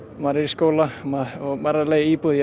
maður er í skóla maður er að leigja íbúð ég